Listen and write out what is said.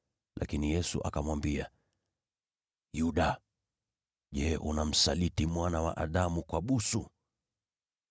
Lakini Yesu akamwambia, “Yuda, je, unamsaliti Mwana wa Adamu kwa busu?”